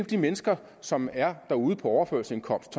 de mennesker som er derude på overførselsindkomst